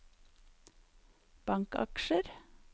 bankaksjer